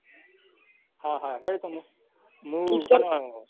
હા હા હેડ તો મુ મુ હારું હારું હેડ.